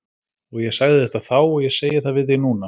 Og ég sagði þetta þá og ég segi það við þig núna.